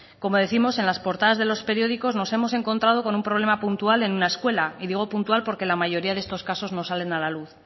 como décimos en las portadas de los periódicos nos hemos encontrado con un problema puntual en una escuela y digo puntual porque la mayoría de estos casos no salen a la luz